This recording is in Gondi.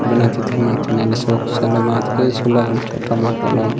बनाकिथ क मान किना ल सोख साला मथकी सोला अल छोटा माठा लोन कीथ --